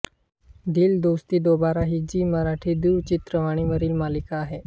दिल दोस्ती दोबारा ही झी मराठी दूरचित्रवाणी वरील मालिका आहे